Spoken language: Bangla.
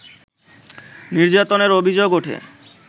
নির্যাতনের অভিযোগ ওঠে